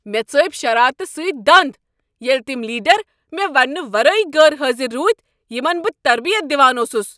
مےٚ ژٲپۍ شرارتہٕ سۭتۍ دند ییٚلہ تم لیڈر مےٚ ونٛنہٕ ورٲے غیر حاضر روٗدۍ یمن بہٕ تربیت دوان اوسس۔